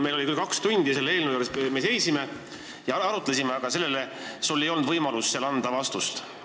Meil oli aega kaks tundi ja selle eelnõu juures me n-ö seisime ja arutlesime, aga sul ei olnud võimalust seal vastust anda.